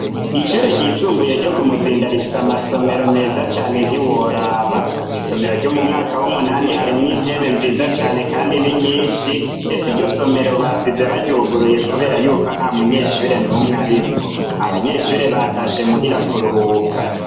Ishure rifise amasomero meza cane ntiworaba mwisomero ryo mumwaka wumunani harimwo intebe nziza cane kandi ninyinshi ndetse iryo somero basize baryuguruye kubera yuko ntamunyeshure numwe arimwo abanyeshure batashe muhira kuruhuka